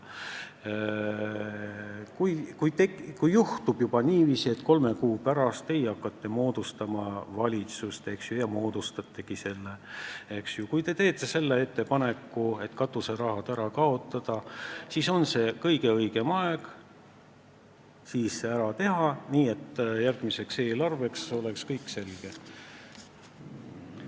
–, et kui juhtub niiviisi, et teie hakkate kolme kuu pärast moodustama valitsust ja moodustategi selle ning teete ettepaneku katuserahad ära kaotada, siis on kõige õigem aeg see ka ära teha, et järgmise eelarve tegemisel oleks kõik selge.